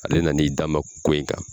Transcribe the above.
Ale nana i dama ko in kan